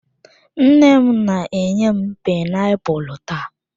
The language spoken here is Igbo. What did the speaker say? Nne m na-enye m painiapulu taa.